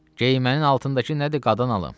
Geymənin altındakı nədir, qadan alım?